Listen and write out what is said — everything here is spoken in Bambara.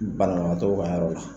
Banabagatɔw ka yɔrɔ la